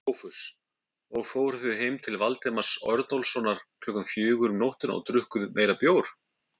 SOPHUS: Og fóruð heim til Valdimars Örnólfssonar klukkan fjögur um nóttina og drukkuð meiri bjór?